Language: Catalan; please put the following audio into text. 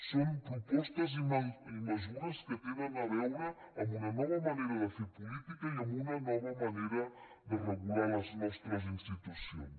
són propostes i mesures que tenen a veure amb una nova manera de fer política i amb una nova manera de regular les nostres institucions